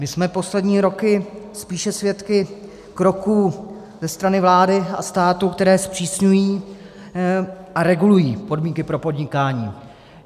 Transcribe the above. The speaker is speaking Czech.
My jsme poslední roky spíše svědky kroků ze strany vlády a státu, které zpřísňují a regulují podmínky pro podnikání.